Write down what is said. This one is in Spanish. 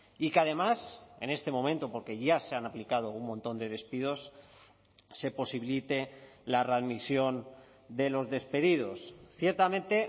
y que además en este momento porque ya se han aplicado un montón de despidos se posibilite la readmisión de los despedidos ciertamente